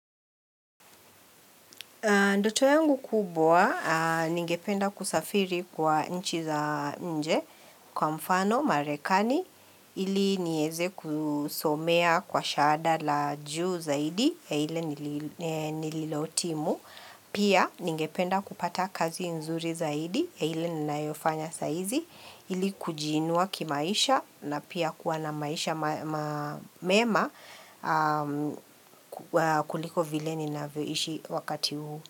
Ndoto yangu kubwa, ningependa kusafiri kwa nchi za nje kwa mfano, marekani, ili niweze kusomea kwa shahada la juu zaidi, ya ile nililohitimu. Pia ningependa kupata kazi nzuri zaidi, ya ile ninayofanya saa hizi, ili kujiinua kimaisha na pia kuwa na maisha mema kuliko vile ninavyoishi wakati huu.